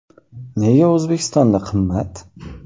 Nega O‘zbekistonda qimmat?.